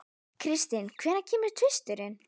Kristin, hvenær kemur tvisturinn?